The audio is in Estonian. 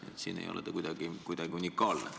Nii et selles osas te ei ole kuidagi unikaalne.